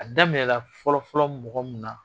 A daminɛla fɔlɔfɔlɔ mɔgɔ mun na